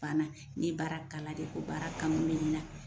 Bana kɛ ni ye baara kalan kɛ ko baara kanu wulila.